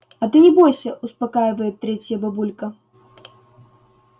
а ты не бойся успокаивает третья бабулька